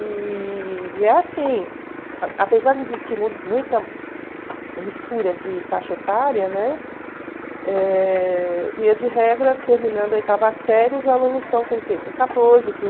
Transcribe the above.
E e é assim, a apesar de existir mu muita mistura de faixa etária, né, eh via de regra, terminando a oitava série, os alunos estão com o quê? Com catorze,